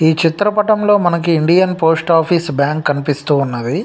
ఈ చిత్ర పటం లో మనకి ఇండియన్ పోస్ట్ ఆఫీస్ బ్యాంకు కనిపిస్తూ ఉన్నవి.